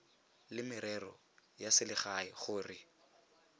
la merero ya selegae gore